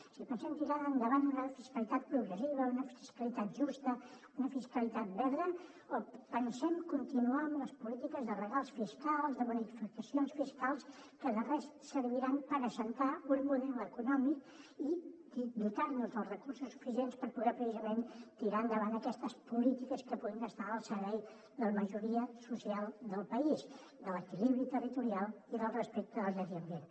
si pensem tirar endavant una fiscalitat progressiva una fiscalitat justa una fiscalitat verda o pensem continuar amb les polítiques de regals fiscals de bonificacions fiscals que de res serviran per assentar un model econòmic i dotar nos dels recursos suficients per poder precisament tirar endavant aquestes polítiques que puguin estar al servei de la majoria social del país de l’equilibri territorial i del respecte al medi ambient